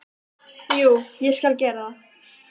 Jú, ég skal gera það.